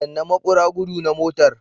Danna maƙura gudu na motar.